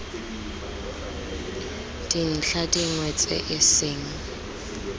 dintlha dingwe tse e seng